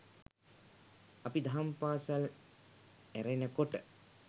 අපි දහම් පාසල් ඇරෙනකොට